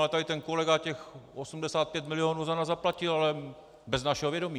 A tady ten kolega těch 85 milionů za nás zaplatil, ale bez našeho vědomí."?